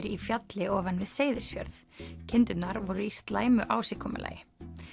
í fjalli ofan við Seyðisfjörð kindurnar voru í slæmu ásigkomulagi